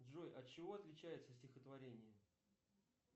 джой от чего отличается стихотворение